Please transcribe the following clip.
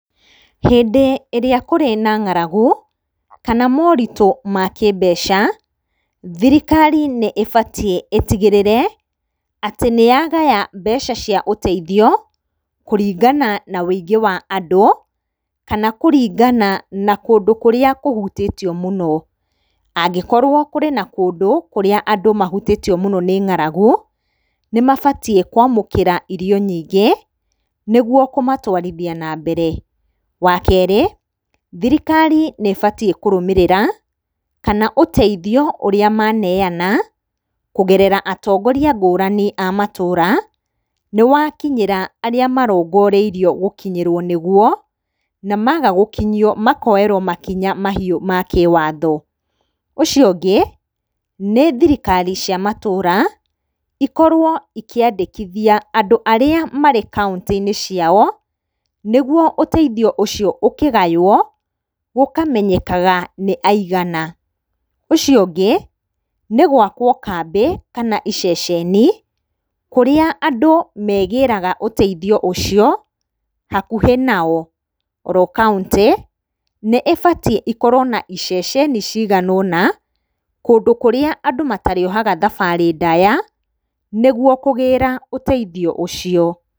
Hĩndĩ ĩrĩa kũrĩ na ng'aragu kana moritũ ma kĩmbeca thirikari nĩĩbatie ĩtigĩrĩre atĩ nĩyagaya mbeca cia ũteithio kũringana na ũingĩ wa andũ kana kũringana na kũndũ kũrĩa kũhutĩtio mũno Angĩkorwo kũrĩ na kũndũ kũrĩa andũ mahutĩtio mũno nĩ ng'aragu nĩmabatiĩ kwamũkĩra irio nyingĩ nĩguo kũmatwarithia na mbere. Wakerĩ thirikari nĩĩbatiĩ kũrũmĩrĩra kana ũteithio ũrĩa maneyana kũgerera atongoria ngũrani a matũra nĩwakinyĩra arĩa marongoreirio gũkinyĩrwo nĩguo na maga gũkinyio makoerwo makinya mahiũ ma kĩwatho. Ũcio ũngĩ nĩ thirikari cia matũra ikorwo ikĩandĩkithia andũ arĩa marĩ kauntĩ-inĩ ciao nĩguo ũteithio ũcio ũkĩgaywo gũkamenyekaga nĩ aigana. Ũcio ũngĩ nĩ gwakwo kambĩ kana iceceni kũrĩa andũ megĩraga ũteithio ũcio hakuhĩ nao. Oro kauntĩ nĩĩbatiĩ ĩkorwo na iceceni cigana ũna kũndũ kũrĩa andũ matarĩohaga thabarĩ ndaya nĩguo kũgĩra ũteithio ũcio.